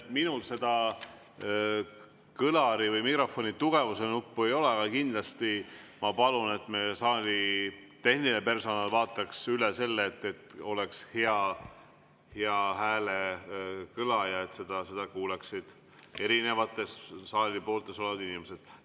Minul seda kõlari või mikrofoni helitugevuse nuppu ei ole, aga kindlasti ma palun, et meie saali tehniline personal vaataks üle selle, et oleks hea häälekõla ja et seda kuuleksid erinevates saali pooltes olevad inimesed.